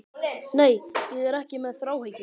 Nei, ég er ekki með þráhyggju.